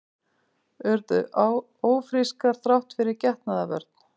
Urðu ófrískar þrátt fyrir getnaðarvörn